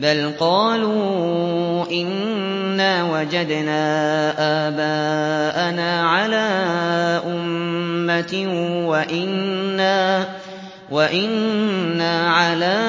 بَلْ قَالُوا إِنَّا وَجَدْنَا آبَاءَنَا عَلَىٰ أُمَّةٍ وَإِنَّا عَلَىٰ